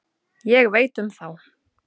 Ég veit um þá.